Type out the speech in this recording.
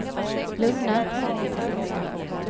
lugna